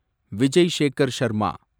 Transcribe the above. Vijay Shekhar Sharma